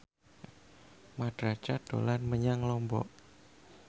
Mat Drajat dolan menyang Lombok